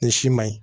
Nin si ma ɲi